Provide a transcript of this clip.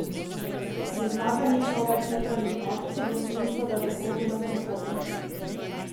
Prizna, da ni človek jutranjih akcij v smislu, da bi hodil na sprehode.